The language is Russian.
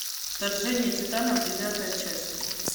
вторжение титанов девятая часть